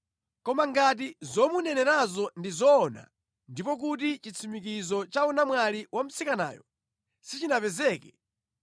Koma ngati zomunenerazo ndi zoona, ndipo kuti chitsimikizo cha unamwali wa mtsikanayo sichinapezeke,